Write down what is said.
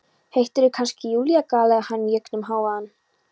Heitirðu kannski Júlía? galaði hann í gegnum hávaðann.